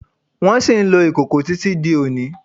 Wón ṣì ń lò ìkòkò tí tí di òní